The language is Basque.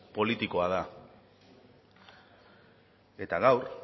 politikoa da eta gaur